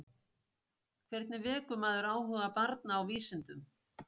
Hvernig vekur maður áhuga barna á vísindum?